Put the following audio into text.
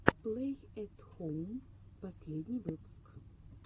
плэй эт хоум последний выпуск